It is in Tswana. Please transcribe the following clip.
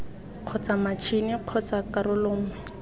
kgotsa matšhini kgotsa karolo nngwe